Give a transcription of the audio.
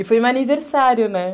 E foi meu aniversário, né?